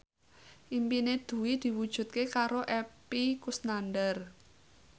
impine Dwi diwujudke karo Epy Kusnandar